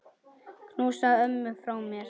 Knúsaðu ömmu frá mér.